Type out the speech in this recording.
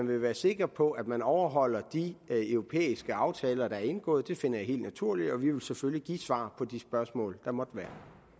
vil være sikker på at man overholder de europæiske aftaler der er indgået finder jeg helt naturligt og vi vil selvfølgelig give svar på de spørgsmål der måtte være